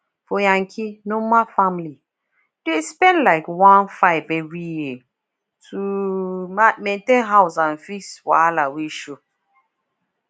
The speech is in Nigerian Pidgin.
for yankee normal family dey spend like one five every year just to maintain house and fix wahala wey show